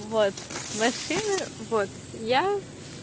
вот машины вот я